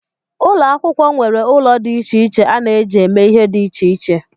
Ụlọ akwụkwọ nwere ụlọ dị iche iche a na-eji eme ihe dị iche iche